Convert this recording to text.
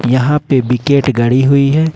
यहां पे विकेट गड़ी हुई है।